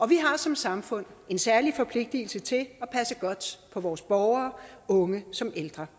vi har som samfund en særlig forpligtelse til at passe godt på vores borgere unge som ældre